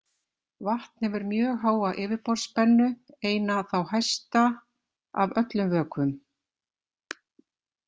Vatn hefur mjög háa yfirborðsspennu, eina þá hæsta af öllum vökvum.